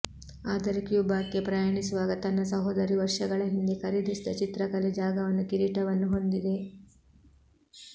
ಆದರೆ ಕ್ಯೂಬಾಕ್ಕೆ ಪ್ರಯಾಣಿಸುವಾಗ ತನ್ನ ಸಹೋದರಿ ವರ್ಷಗಳ ಹಿಂದೆ ಖರೀದಿಸಿದ ಚಿತ್ರಕಲೆ ಜಾಗವನ್ನು ಕಿರೀಟವನ್ನು ಹೊಂದಿದೆ